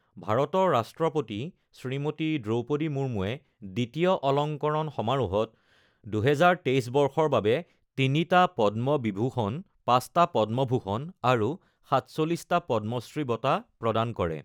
ভাৰতৰ ৰাষ্ট্ৰপতি শ্ৰীমতী দ্ৰৌপদী মুৰ্মূৱে দ্বিতীয় অলংকৰণ সমাৰোহত ২০২৩ বৰ্ষৰ বাবে তিনিটা পদ্ম বিভূষণ, পাঁচটা পদ্মভূষণ আৰু সাতচল্লিশটা পদ্মশ্ৰী বঁটা প্ৰদান কৰে